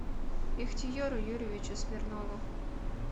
ихтиеру юрьевичу смирнову